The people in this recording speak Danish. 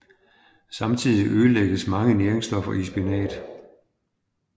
Samtidig ødelægges mange næringsstoffer i spinat